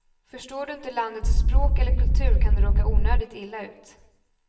Förstår du inte landets språk eller kultur kan du råka onödigt illa ut.